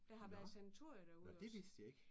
Nåh! Nåh det vidste jeg ikke